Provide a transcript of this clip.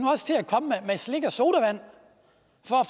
at slik og sodavand